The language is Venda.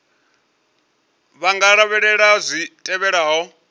vha nga lavhelela zwi tevhelaho